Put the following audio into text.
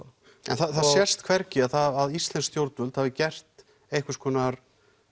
það sést hvergi að íslensk stjórnvöld hafi gert einhvers konar